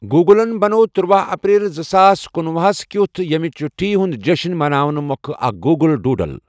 گوٗگلن بَنوو تُرٛواہ اپریل زٕساس کُنوُہ ہَس کیُتھ ییٚمہِ چُھٹی ہُنٛد جشن مناونہٕ مۄکھٕ اکھ گوٗگل ڈُوڈل۔